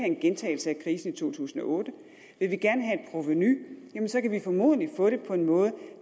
en gentagelse af krisen i to tusind og otte vi vil gerne have et provenu jamen så kan vi formodentlig få det på en måde